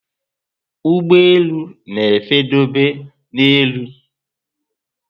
Ụgbọelu na efe dobe na élú